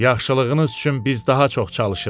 Yaxşılığınız üçün biz daha çox çalışırıq.